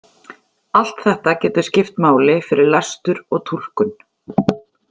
Allt þetta getur skipt máli fyrir lestur og túlkun.